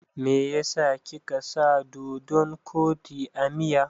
Meyasa kika sa doɗon kwaɗi a miya?